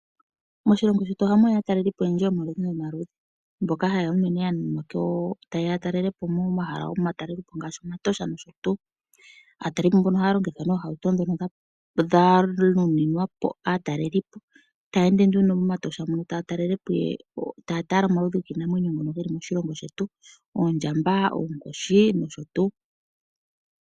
Moshilongo shetu ohamu ya aatalelipo oyendji yomaludhi nomaludhi, mboka haye ya unene ta yeya ya talelepo momahala gomatalelipo ngaashi momatosha nosho tuu. Aatalelipo mbono ohaya longitha nee ohauto dhono dha nuninwa po aatalelipo. Taya ende nduno momatosha mono taya tala omaludhi giinamwenyo ngono geli moshilongo shetu. Oondjamba, oonkoshi, nosho tuu.